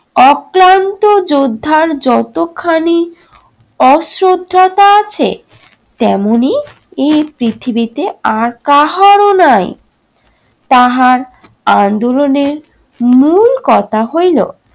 অক্লান্ত যোদ্ধার যতখানি অশ্রদ্ধতা আছে, তেমনি এই পৃথিবীতে আর কাহারো নাই। তাহার আন্দোলনের মূল কথা হইল